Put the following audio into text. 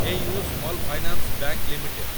AU small finance bank limited